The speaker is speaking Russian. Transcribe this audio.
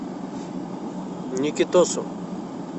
никитосу